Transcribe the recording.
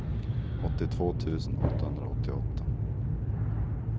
åttiotvå tusen åttahundraåttioåtta